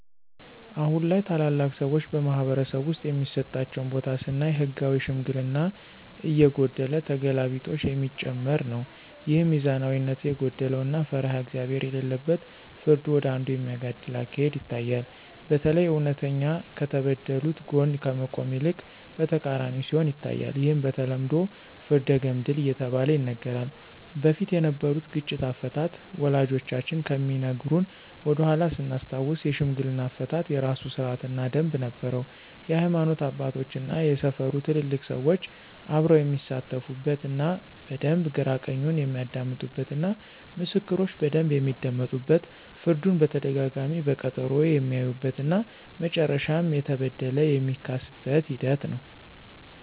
አሁን ላይ ታላላቅ ሰዎች በማኅበረሰብ ውስጥ የሚሰጣቸው ቦታ ስናይ ህጋዊ ሽምግልና እየጎደለ ተገላቢጦሽ የሚጨመር ነው። ይህም ሚዛናዊነት የጎደለው እና ፈሪሃ እግዚአብሄር የሌለበት ፍርዱ ወደ አንዱ የሚያጋድል አካሄድ ይታያል። በተለይ እውነተኛ ከተበደሉት ጎን ከመቆም ይልቅ በተቃራኒው ሲሆን ይታያል። ይህም በተለምዶ ፍርደ ገምድል እየተባለ ይነገራል። በፊት የነበሩት ግጭት አፈታት ወላጆቻችን ከሚነግሩን ወደኃላ ስናስታውስ የሽምግልና አፈታት የራሱ ስርአት እና ደምብ ነበረው የሀይማኖት አባቶች እና የሰፈሩ ትልልቅ ሰዎች አብረው የሚሳተፉበት እና በደንብ ግራ ቀኙን የሚያደምጡበት እና ምስክሮች በደንብ የሚደመጡበት ፍርዱን በተደጋጋሚ በቀጠሮ የሚያዩበት እና መጨረሻም የተበደለ የሚካስበት ሂደት ነው።